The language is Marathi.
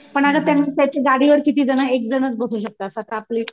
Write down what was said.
पण अगं त्यानं त्याची गाडीवर किती जण एकजण बसू शकतात असं आपली